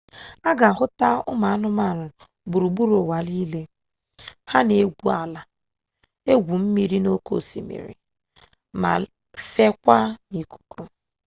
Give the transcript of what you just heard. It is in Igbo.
a ga ahụta anụmanụ gburugburu ụwa nile ha na-egwu ala gwuo mmiri n'oke osimiri ma fekwaa n'ikuku